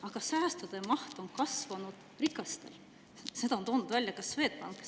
Aga säästude maht on kasvanud rikastel, seda on toonud välja ka Swedbank.